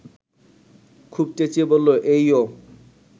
খুব চেঁচিয়ে বলল, এইয়ো